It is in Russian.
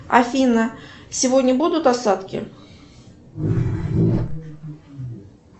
афина сегодня будут осадки